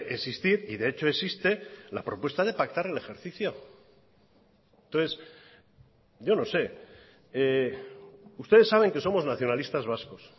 existir y de hecho existe la propuesta de pactar el ejercicio entonces yo no sé ustedes saben que somos nacionalistas vascos